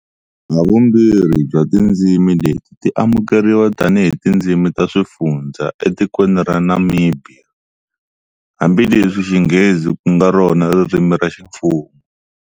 Havumbirhi bya tindzimi leti ti amukeriwa tani hi tindzimi ta swifundhza etikweni ra Namibhiya, hambileswi Xinghezi kunga rona ririmi ra ximfumo.